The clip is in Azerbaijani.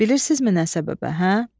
Bilirsinizmi nə səbəbə, hə?